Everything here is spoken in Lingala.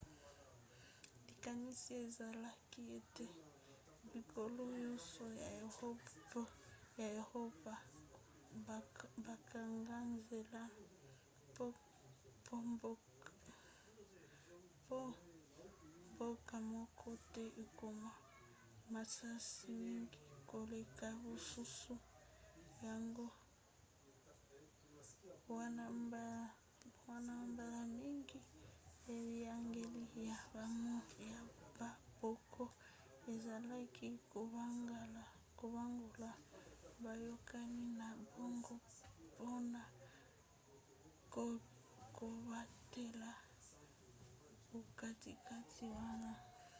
likanisi ezalaki ete bikolo nyonso ya eropa bakanga nzela po mboka moko te ekoma makasi mingi koleka basusu yango wana mbala mingi biyangeli ya bamboka ezalaki kobongola boyakani na bango mpona kobatela bokatikati wana